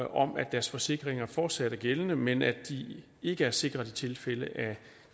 om at deres forsikringer fortsat er gældende men at de ikke er sikret i tilfælde af